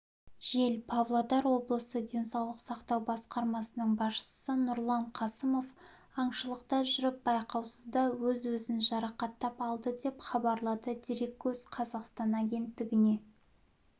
жел павлодар облысы денсаулық сақтау басқармасының басшысы нұрлан қасымов аңшылықта жүріп байқаусызда өз-өзін жарақаттап алды деп хабарлады дереккөз қазақстан агенттігіне